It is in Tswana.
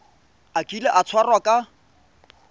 a kile a tshwarwa ka